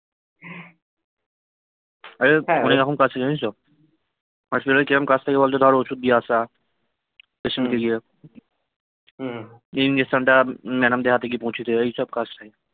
আরে অনেকরকম আছে জানিস তো হসপিটালে কিরম কাজ থাকে বলত কারো ওষুধ দিয়ে আসা patient কে গিয়ে ইনজেকশন টা ম্যাডাম দের হাতে গিয়ে পৌঁছে দেওয়া এইসব কাজ ভাই